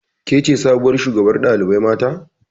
Kece sabuwar shugabar ɗalibai mata